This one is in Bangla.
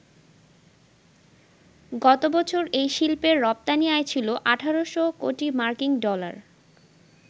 গতবছর এই শিল্পের রপ্তানি আয় ছিল ১,৮০০ কোটি মার্কিন ডলার।